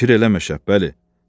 Fikir eləmə, Şəhbəli.